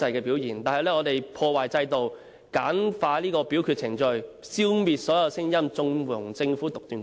保皇派以修訂破壞制度，簡化表決程序，消滅所有聲音，縱容政府獨斷橫行。